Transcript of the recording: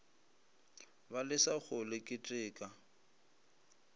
ba lesa go le keteka